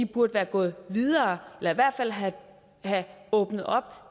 burde været gået videre eller i hvert fald have åbnet op